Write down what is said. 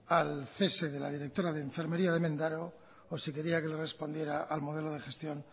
al cese de la directora de enfermería de mendaro o si quería que le respondiera al modelo de gestión